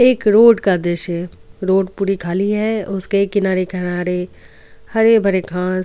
एक रोड का दृश्य रोड पूरी खाली है उसके किनारे किनारे हरे भरे खास.